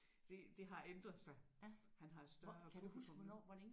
Det det har ændret sig han har et større publikum nu